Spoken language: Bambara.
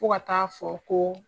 Fo ka taa fɔ ko